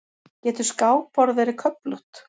Getur skákborð verið köflótt?